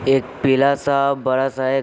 एक पीला सा बड़ा सा एक --